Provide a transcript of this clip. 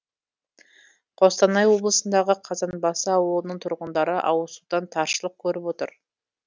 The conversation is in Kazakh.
қостанай облысындағы қазанбасы ауылының тұрғындары ауызсудан таршылық көріп отыр